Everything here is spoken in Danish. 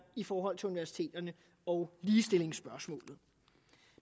i forhold til universiteterne og ligestillingsspørgsmålet